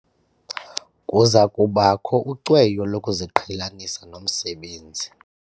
Kuza kubakho ucweyo lokuziqhelanisa nomsebenzi.